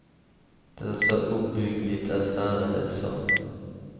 Det är så uppbyggligt att höra det, sa hon.